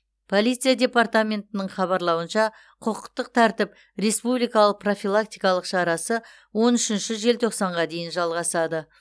полиция департаментінің хабарлауынша құқықтық тәртіп республикалық профилактикалық шарасы он үшінші желтоқсанға дейін жалғасады